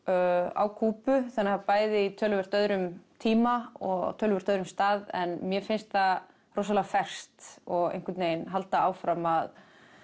á Kúbu þannig að bæði í töluvert öðrum tíma og töluvert öðrum stað en mér finnst það rosalega ferskt og einhvern veginn halda áfram að